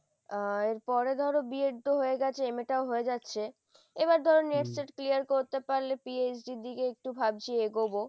আহ এরপরে ধরো B ed হয়ে গেছে MA টাও হয়ে যাচ্ছে, এবার ধরো NET SET clear করতে পারলে PhD র দিকে একটু ভাবছি এগোবো।